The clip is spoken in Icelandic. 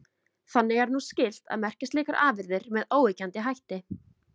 Þannig er nú skylt að merkja slíkar afurðir með óyggjandi hætti.